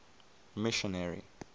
missionary